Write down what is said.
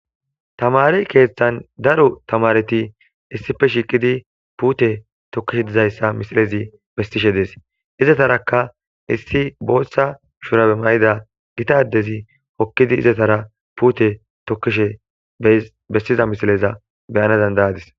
tamare keeththan daro tamareti issife shiqidi puute tokkishe dizayssa misilezi bestishe dees izataraka issi booththa shurae may7ida gitadezi hokkidi izatara puute tokkishe bessiza misileza beyana dandayadis